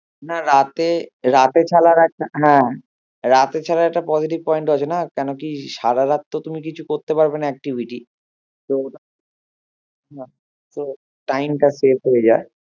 না রাতে রাতে ছাড়ার এক হ্যাঁ রাতে ছাড়ার একটা positive point আছে না কেনোকি সারা রাত তো তুমি কিছু করতে পারবে না activity তো time টা শেষ হয়ে যায়